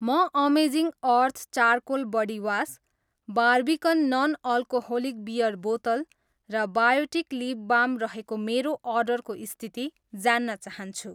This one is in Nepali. म amazing earth charcoal body wash, Barbican non alcoholic beer बोतल र बायोटिक लिप बाम रहेको मेरो अर्डरको स्थिति जान्न चाहन्छु।